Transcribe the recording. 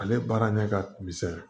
Ale baara ɲɛ ka misɛn